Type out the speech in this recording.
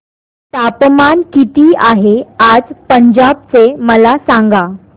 तापमान किती आहे आज पंजाब चे मला सांगा